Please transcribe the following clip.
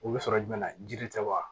U bɛ sɔrɔ jumɛn na jiri tɛ wa